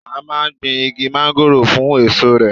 A máa gbìn Igi Mángóròò fún èso rè.